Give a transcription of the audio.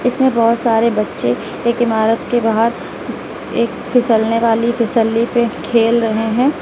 इसमें बहुत सारे बच्चे एक इमारत के बाहर एक फिसलने वाली फिसली पे खेल रहे हैं।